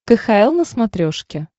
кхл на смотрешке